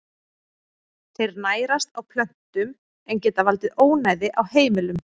Þeir nærast á plöntum en geta valdið ónæði á heimilum.